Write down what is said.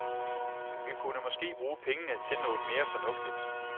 Vi kunne måske bruge pengene til noget mere fornuftigt.